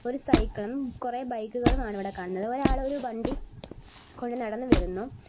ഒരു സൈക്കിളും കുറെ ബൈക്കുകളും ആണ് ഇവിടെ കാണുന്നത് ഒരാൾ ഒരു വണ്ടി കൊണ്ട് നടന്നുവരുന്നു.